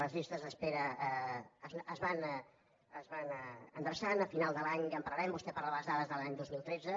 les llistes d’espera es van endreçant a final de l’any ja en parlarem vostè parla de les dades de l’any dos mil tretze